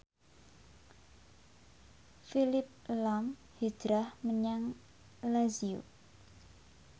Phillip lahm hijrah menyang Lazio